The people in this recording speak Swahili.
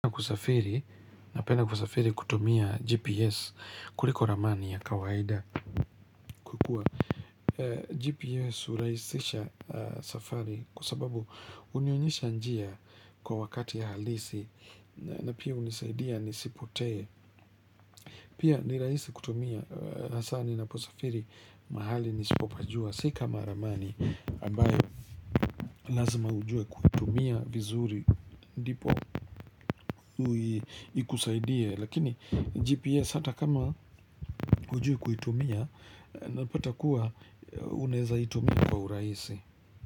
Napenda kusafiri kutumia GPS kuliko ramani ya kawaida GPS uraisisha safari kwa sababu unionyesha njia kwa wakati ya halisi na pia unisaidia nisipotee Pia ni raisi kutumia hasa ninaposafiri mahali nisipopajua si kama ramani ambayo lazima ujue kutumia vizuri ndipo ikusaidie lakini gps hata kama ujui kuitumia napata kuwa unaeza itumia kwa urahisi.